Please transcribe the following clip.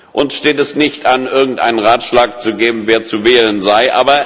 Uns steht es nicht an, irgendeinen Ratschlag zu geben, wer zu wählen sei.